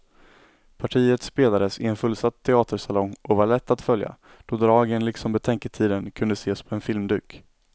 Partiet spelades i en fullsatt teatersalong och var lätt att följa, då dragen liksom betänketiden kunde ses på en filmduk.